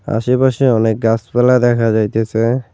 আশেপাশে অনেক গাসপালা দেখা যাইতেসে।